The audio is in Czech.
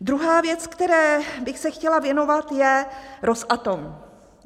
Druhá věc, které bych se chtěla věnovat, je Rosatom.